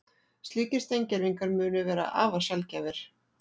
Slíkir steingervingar munu vera afar sjaldgæfir